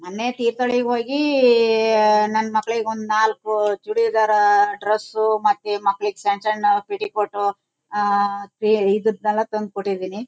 ಮೊನ್ನೆ ತೀರ್ಥಹಳ್ಳಿಗೆ ಜೋಗಿ ಈ ನನ್ ಮಗಳಿಗೆ ನಾಲ್ಕು ಚೂಡಿದಾರ ಡ್ರೆಸ್ಸು ಮತ್ತೆ ಮಕ್ಕಳಿಗೆ ಸಣ್ಣ್ ಸಣ್ಣ್ ಪೆಟಿಕೋಟ್ ಆಹ್ಹ್ಹ್ ತ್ರಿ ಇದನೆಲ್ಲ ತಂದು ಕೊಟ್ಟಿದ್ದೀನಿ.